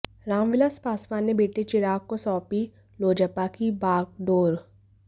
रामविलास पासवान ने बेटे चिराग को सौंपी लोजपा की बागडोर